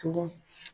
Tugun